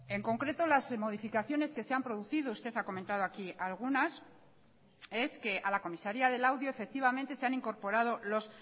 en concreto las modificaciones que se han producido usted ha comentado aquí algunas es que a la comisaría de laudio efectivamente se han incorporado los